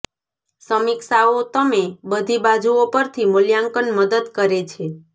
સમીક્ષાઓ તમે બધી બાજુઓ પરથી મૂલ્યાંકન મદદ કરે છે